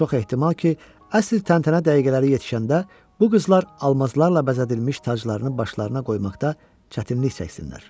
Çox ehtimal ki, əsl təntənə dəqiqələri yetişəndə bu qızlar almazlarla bəzədilmiş taclarını başlarına qoymaqda çətinlik çəksinlər.